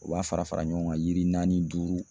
U b'a fara fara ɲɔgɔn kan yiri naani, duuru